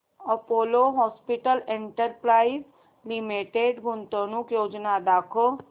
Apollo hospitals enterprise limited गुंतवणूक योजना दाखव